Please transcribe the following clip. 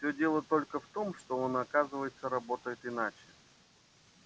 всё дело только в том что он оказывается работает иначе